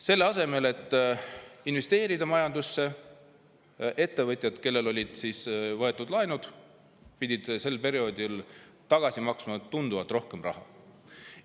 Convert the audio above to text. Selle asemel et investeerida majandusse, pidid ettevõtjad, kellel olid laenud, sel perioodil maksma tagasi tunduvalt rohkem raha.